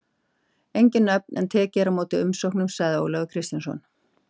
Engin nöfn en tekið er á móti umsóknum, segir Ólafur Kristjánsson.